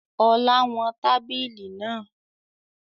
Ọlá wọn tábìlì náà